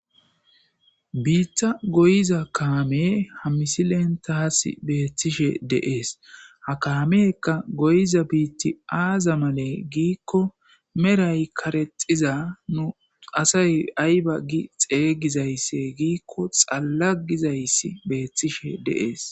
Biitta goyiza kaame hammisi lentaas beettishe deees ha kaamekka goyiza biitti aaza male giikko meray karexiza nu asay ayba gi xeygizaysse giikko xallagizayssi beethtishe deees